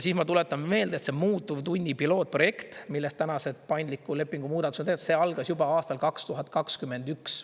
Ma tuletan meelde, et see muutuvtunni pilootprojekt, millest täna see paindliku lepingu muudatuse teeb, see algas juba aastal 2021.